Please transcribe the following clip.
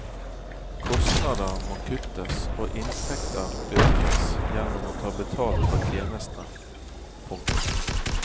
Kostnader må kuttes og inntekter økes gjennom å ta betalt for tjenestene. punktum